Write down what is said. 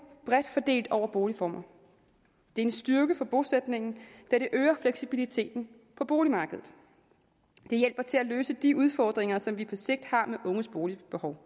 bredt fordelt over boligformer det er en styrke for bosætningen da det øger fleksibiliteten på boligmarkedet det hjælper til at løse de udfordringer som vi på sigt har med unges boligbehov